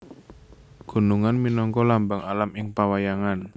Gunungan minangka lambang alam ing pawayangan